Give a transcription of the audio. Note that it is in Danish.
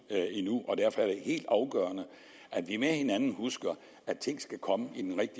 endnu og derfor er det helt afgørende at vi med hinanden husker at tingene skal komme i den